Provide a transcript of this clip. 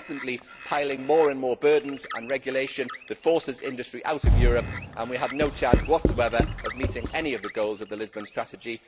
We are constantly piling on more and more burdens and regulations that force industry out of Europe, and we have no chance whatsoever of meeting any of the goals of the Lisbon Strategy.